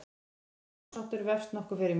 Þessi málsháttur vefst nokkuð fyrir mér.